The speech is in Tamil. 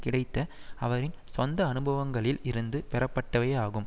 கிடைத்த அவரின் சொந்த அனுபவங்களில் இருந்து பெறப்பட்டவையே ஆகும்